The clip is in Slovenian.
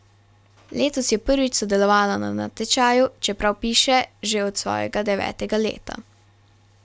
Letos je prvič sodelovala na natečaju, čeprav piše že od svojega devetega leta.